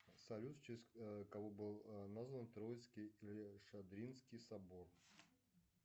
салют в честь кого был назван троицкий или шадринский собор